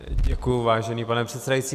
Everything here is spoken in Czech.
Děkuji, vážený pane předsedající.